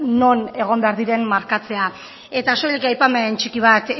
non egon behar diren markatzea eta soilik aipamen txiki bat